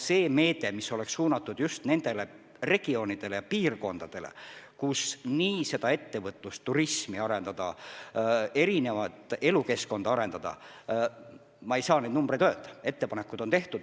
See meede, mis oleks suunatud just nendele regioonidele, kus tuleks ettevõtlusturismi arendada ja elukeskkonda arendada – ma ei saa konkreetseid numbreid öelda, aga ettepanekud on tehtud.